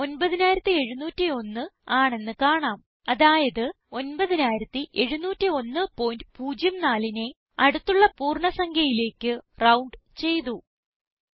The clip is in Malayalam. ഫലം 9701 ആണെന്ന് കാണാം അതായത് 970104നെ അടുത്തുള്ള പൂർണ്ണ സംഖ്യയിലേക്ക് റൌണ്ട് ചെയ്തു